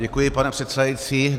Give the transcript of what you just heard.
Děkuji, pane předsedající.